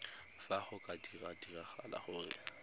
fa go ka diragala gore